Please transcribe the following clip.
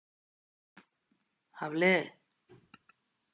Hafliði